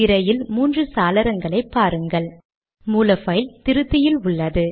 இப்போது மூன்று விண்டோக்களை பார்க்கிறீர்கள்